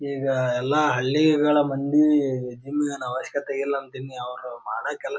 ಈಗ ಎಲ್ಲ ಹಳ್ಳಿಗಳ ಮಂದಿ ಜಿಮ್ ಇಗೇನ್ ಅವಶ್ಯಕತೆ ಇಲ್ಲಾ ಅಂಥ ಇನ್ ಅವರ ಮಾಡೋ ಕೆಲ--